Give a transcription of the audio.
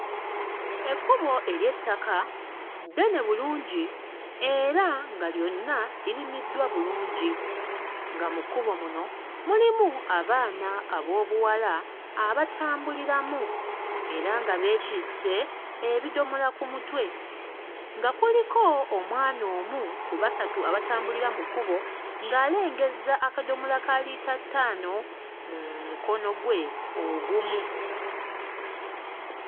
Ekkubo ery'ettaka ddene bulungi era nga lyonna lirimiddwa bulungi nga mu kkubo muno mulimu abaana ab'obuwala abatambuliramu era nga beetisse ebidomola ku mutwe, nga kuliko omwana omu ku basatu abatambulira mu kkubo ng'alengezza akadomola ka liita ttaano mu mukono gwe ogumu.